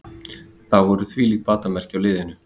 Það voru þvílík batamerki á liðinu